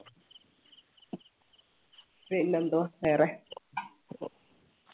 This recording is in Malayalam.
പിന്നെന്തുവാ വേറെ